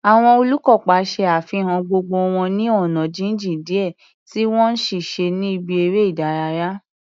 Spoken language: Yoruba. Àwọn olùkópa ṣe àfihàn ọgbọ́n wọn ní ọ̀nà jíjìn díẹ̀ tí wọ́n ń ṣiṣẹ́ ní ibi eré ìdárayá.